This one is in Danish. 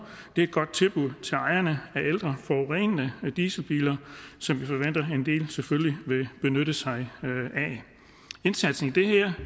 det er et godt tilbud til ejerne af ældre forurenende dieselbiler som vi selvfølgelig vil benytte sig af indsatsen i det her